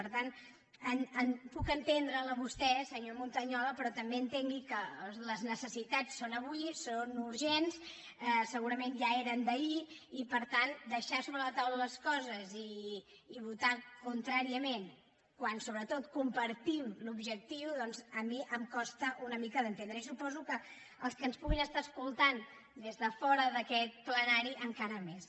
per tant puc entendre’l a vostè senyor montañola però també entengui que les necessitats són avui són urgents segurament ja eren d’ahir i per tant deixar sobre la taula les coses i votar contràriament quan sobretot compartim l’objectiu doncs a mi em costa una mica d’entendre i suposo que als que ens puguin estar escoltant des de fora d’aquest plenari encara més